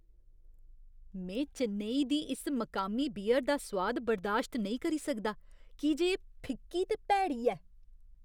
में चेन्नई दी इस मकामी बियर दा सोआद बर्दाश्त नेईं करी सकदा की जे एह् फिक्की ते भैड़ी ऐ।